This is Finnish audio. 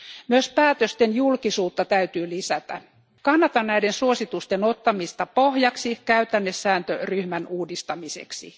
Myös päätösten julkisuutta täytyy lisätä. Kannatan näiden suositusten ottamista pohjaksi käytännesääntöryhmän uudistamiseksi.